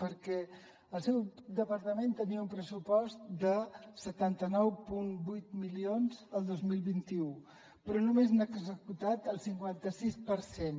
perquè el seu departament tenia un pressupost de setanta nou coma vuit milions el dos mil vint u però només n’ha executat el cinquanta sis per cent